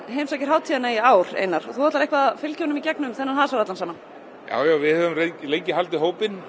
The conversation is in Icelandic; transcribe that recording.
heimsækir hátíðina í ár Einar og þú ætlar eitthvað að fylgja honum í gegnum þennan hasar allan saman já við höfum lengi haldið hópinn